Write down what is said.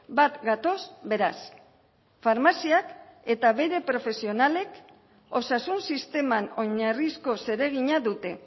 bat gatoz beraz farmaziak eta bere profesionalek osasun sisteman oinarrizko zeregina dute